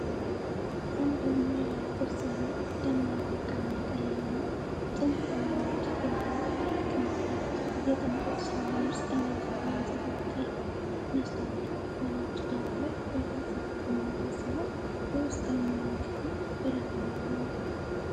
አንድ ሞላላ ቅርጽ ያለው፣ ደማቅ ወርቃማ ቀለምና ጥንታዊ ንድፍ ያለው ትልቅ መስታወት፣ የቅንጦት ሳሎን ውስጠኛ ክፍል ያንፀባርቃል። መስታወቱ በነጭ ዳራ ላይ በግልጽ የተቀመጠ ሲሆን፣ የውስጠኛውን ክፍል ብርሃን ያጎላል።